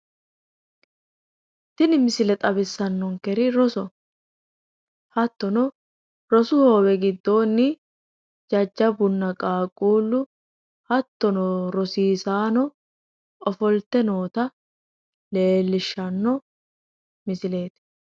Tini misile xawissannonkeri rosoho. Hattono rosu hoowe giddoonni jajjabbunna qaaqquullu hattono rosiisaano ofolte noota leellishshanno misileeti.